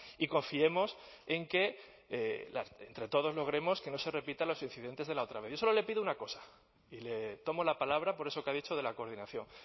y confiemos en que entre todos logremos que no se repitan los incidentes de la otra vez yo solo le pido una cosa y le tomo la palabra por eso que ha dicho de la coordinación